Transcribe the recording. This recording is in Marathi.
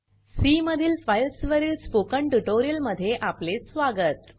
सी मधील फाइल्स वरील स्पोकन ट्यूटोरियल मध्ये आपले स्वागत